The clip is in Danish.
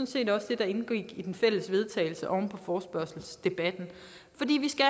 set også det der indgik i den fælles vedtagelse oven på forespørgselsdebatten fordi vi skal